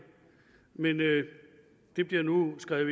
men det bliver nu skrevet